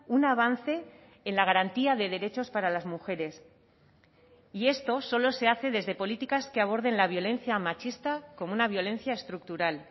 un avance en la garantía de derechos para las mujeres y esto solo se hace desde políticas que aborden la violencia machista como una violencia estructural